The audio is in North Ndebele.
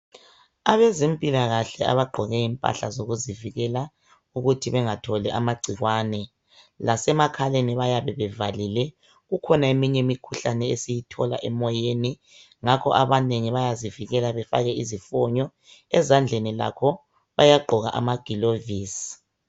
Abezempilakahle bagqoke impahla zokuzivikela ukuthi bengatholi amacikwane lasemakhaleni bayabe bevalile kukhona eminye imikhuhlane esiyithola emoyeni ngakho abanengi yazivikela befake izifunyo ezandleni lakho bayagqoka amagulovisi